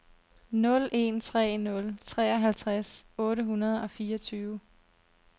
nul en tre nul treoghalvtreds otte hundrede og fireogtyve